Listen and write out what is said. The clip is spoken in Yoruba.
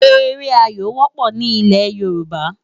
Éré áyó wòpò ni ilē Yoruba